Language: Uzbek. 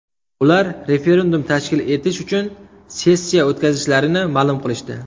Ular referendum tashkil etish uchun sessiya o‘tkazishlarini ma’lum qilishdi”.